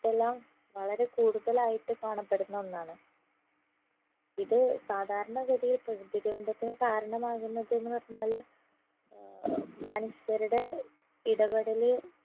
എല്ലാം വളരെ കൂടുതലായിട്ട് കാണപ്പെടുന്ന ഒന്നാണ് ഇത് സാധാരണ ഗതിയിൽ പ്രകൃതി ദുരന്തത്തിന് കാരണമാകുന്നതെന്ന് പറഞ്ഞാല് ഏർ മനുഷ്യരുടെ ഇടപെടല്